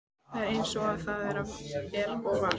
Það er eins og það er og var.